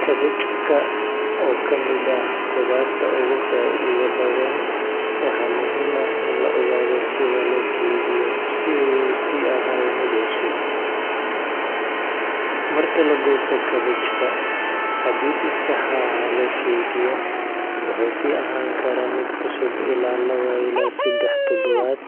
Kabejka oo kamid ah qudarta ogu faa'iida badan waxay muhiim ah in la ogaado sida loo keydiyo si u usi ahaado mid cusub, marka lagoosto kabejka hadii si sax ah loo keydiyo wuxuu si ahani karaa mid cusub ila laba ila sedex tadabad